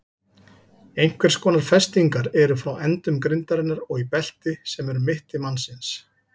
Einhvers konar festingar eru frá endum grindarinnar og í belti sem er um mitti mannsins.